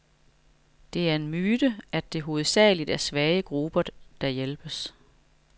Det er en myte, at det hovedsageligt er svage grupper, der hjælpes.